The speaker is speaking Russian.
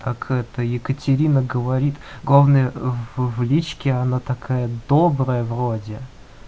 как это екатерина говорит главное в личке она такая добрая вроде